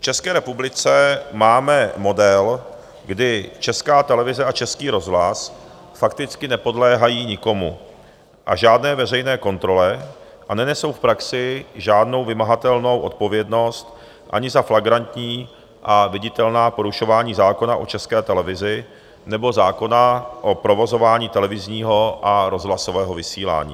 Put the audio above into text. V České republice máme model, kdy Česká televize a Český rozhlas fakticky nepodléhají nikomu a žádné veřejné kontrole a nenesou v praxi žádnou vymahatelnou odpovědnost ani za flagrantní a viditelná porušování zákona o České televizi nebo zákona o provozování televizního a rozhlasového vysílání.